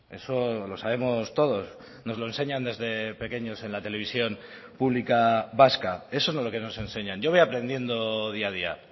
eso lo sabemos todos nos lo enseñan desde pequeños en la televisión pública vasca eso es lo que nos enseñan yo voy aprendiendo día a día